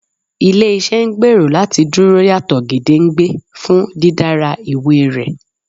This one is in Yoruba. Ile-iṣẹ ngbero lati Duro yato gedengbe fun didara iwe rẹ